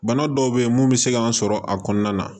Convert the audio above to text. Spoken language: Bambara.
Bana dɔw be ye mun be se k'an sɔrɔ a kɔnɔna na